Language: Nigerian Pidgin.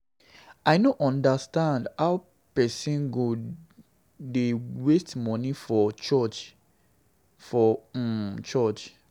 I no understand how person go dey waste money for money for um church.